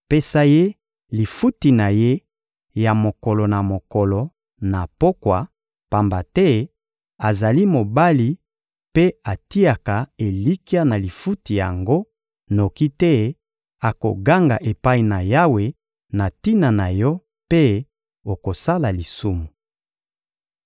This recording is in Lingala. Pesa ye lifuti na ye ya mokolo na mokolo na pokwa, pamba te azali mobali mpe atiaka elikya na lifuti yango, noki te akoganga epai na Yawe na tina na yo mpe okosala lisumu.